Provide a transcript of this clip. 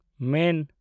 ᱢᱮᱱ